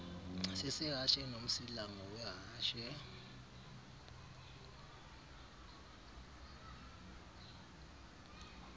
sesehashe nomsila ngowehashe